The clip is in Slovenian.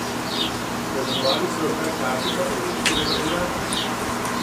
Poimenovali so jo kar kartica evropskega državljana.